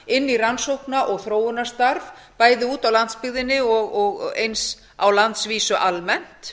inn í rannsókna og þróunarstarf bæði úti á landsbyggðinni og eins á landsvísu almennt